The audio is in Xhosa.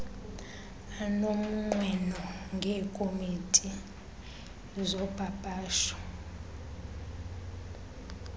anomnqweno ngeekopi zopapasho